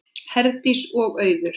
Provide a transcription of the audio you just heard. Herdís og Auður.